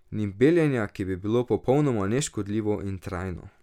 Ni beljenja, ki bi bilo popolnoma neškodljivo in trajno.